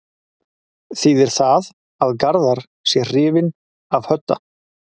Þýðir það að Garðar sé hrifinn af Hödda?